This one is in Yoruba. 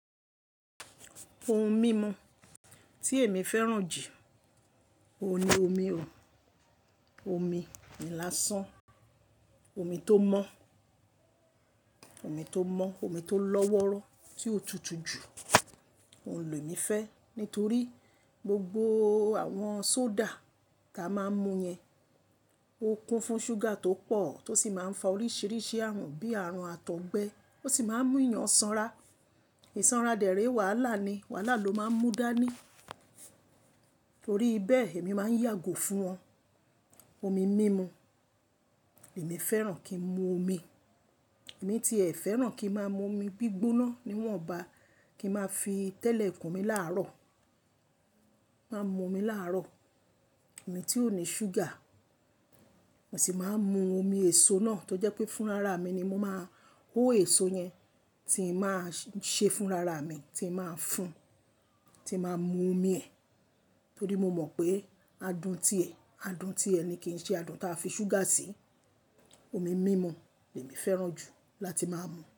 Ohun mímu tí èmi fẹ́ràn jù, òun ni omi òò, omi lásàn, omi tó mọ́, omi tó mọ́, omi tó lọ́wọ́rọ́ tí ó tutù jù. Ohun lè mi fẹ́, nítorí gbogbo àwọn soda tá a máa ń mu yẹn, ó kún fún ṣúgà tó pọ̀ tó sì máa ń fa oríṣiríṣi àrùn bíi àrùn àtọ̀gbẹ, ó sì máa ń mú èèyàn sanra. Ìsanra dẹ̀ré wàhálà ni, wàhálà ló máa ń mú dání. Ítorí bẹ́ẹ̀ èmi máa ń yàgò fún wọn. Omi mímu, èmi fẹ́ràn kí n mu omi, èmi ti ẹ fẹ́ràn kí n máa mu omi gbígbóná, níwọ̀nba, kí n máa fi tẹ́lẹ̀ ikùn mi láàárọ̀. Mo máa n mu omi láàárọ̀, omi tí ò ní ṣúgà. Èmi sì máa ń mu omi èso náà tó jẹ́ pé fún rara mi ni mo máa hó èso yẹn tí mo máa ṣe fún rara mi, tí mo máa ń fún, tí mo máa ń mu omi ẹ̀. Nítorí mo mọ̀ pé adùn ti ẹ̀, adùn ti ẹ̀ ni kì í ṣe adùn táa fi ṣúgà sí. Omi mímu ni èmi fẹ́ràn jù láti máa ń mu.